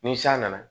Ni san nana